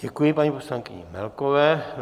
Děkuji paní poslankyni Melkové.